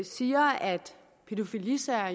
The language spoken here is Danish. siger at pædofilisager